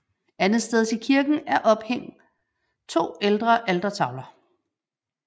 Andetsteds i kirken er ophæng to ældre altertavler